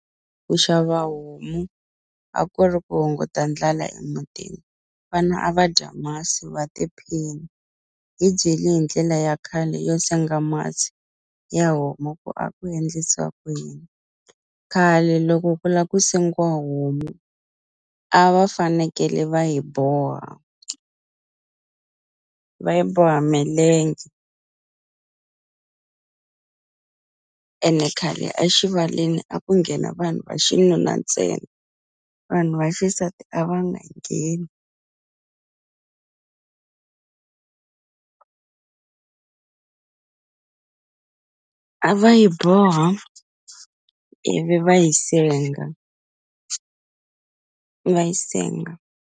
Ku xava homu a ku ri ku hunguta ndlala emutini vana a va dya masi wa tiphina hi byeli hi ndlela ya khale yo senga masi ya homu ku a ku endlisiwa ku yini, khale loko ku la ku sengiwa homu a va fanekele va yi boha va yi boha milenge ene khale axivaleni a ku nghena vanhu va xinuna ntsena vanhu va xisati a va nga ngheni a va yi boha ivi va yi senga va yi senga.